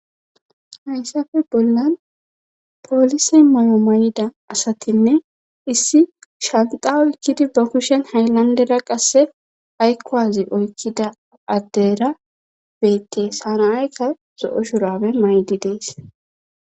Hayssafe bollan poolise may'o may'ida asatinne issi shanxawo ikkidi bakushen haylandera qasse aykkowazi oykkida addera beettees hanaayka so'o shurabe maydi dees.